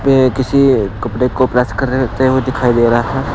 ये किसी कपड़े को प्रेस करते हुए दिखाई दे रहा है।